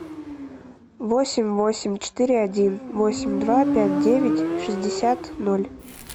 восемь восемь четыре один восемь два пять девять шестьдесят ноль